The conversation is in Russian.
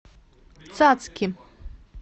цацки